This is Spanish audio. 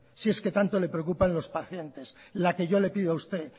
si es que tanto le preocupa los pacientes la que yo le pido a usted